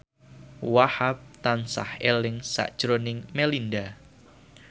Wahhab tansah eling sakjroning Melinda